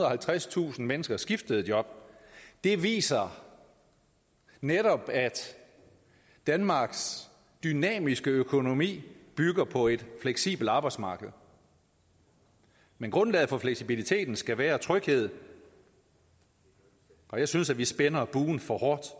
og halvtredstusind mennesker skiftede job det viser netop at danmarks dynamiske økonomi bygger på et fleksibelt arbejdsmarked men grundlaget for fleksibiliteten skal være tryghed og jeg synes at vi spænder buen for hårdt